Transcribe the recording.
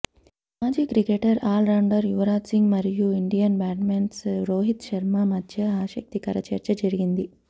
మాజీ cricketer all rounder Yuvraj Singh మరియు Indian batsmen Rohit Sharma మద్య ఆసక్తికర చర్చ జరిగింది